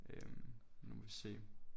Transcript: Øh nu må vi se